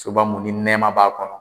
Soba mun ni nɛma b'a kɔnɔ.